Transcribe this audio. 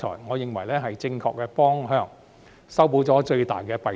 我認為這是正確的方向，亦可解決最大的弊端。